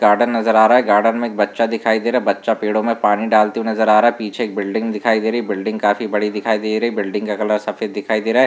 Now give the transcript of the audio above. Garden नजर आ रहा है गार्डन में एक बच्चा दिखाई दे रहा है बच्चा पेड़ो में पानी डालते हुए नज़र आ रहा है पीछे एक बिल्डिंग दिखाई दे रही है बिल्डिंग का कलर सफेद दिखाई दे रहा है।